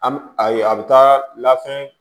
An bɛ a ye a bɛ taa labɛn